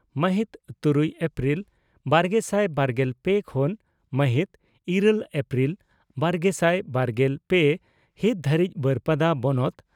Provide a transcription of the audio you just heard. ᱢᱟᱦᱤᱛ ᱛᱨᱩᱭ ᱮᱯᱨᱤᱞ ᱵᱟᱨᱜᱮᱥᱟᱭ ᱵᱟᱨᱜᱮᱞ ᱯᱮ ᱠᱷᱚᱱ ᱢᱟᱦᱤᱛ ᱤᱨᱟᱹᱞ ᱮᱯᱨᱤᱞ ᱵᱟᱨᱜᱮᱥᱟᱭ ᱵᱟᱨᱜᱮᱞ ᱯᱮ ᱦᱤᱛ ᱫᱷᱟᱹᱨᱤᱡ ᱵᱟᱹᱨᱯᱟᱫᱟ ᱵᱚᱱᱚᱛ